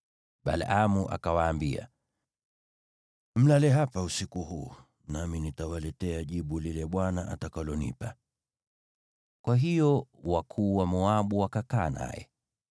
Balaamu akawaambia, “Mlale hapa usiku huu, nami nitawaletea jibu lile Bwana atakalonipa.” Kwa hiyo wakuu wa Moabu wakakaa naye.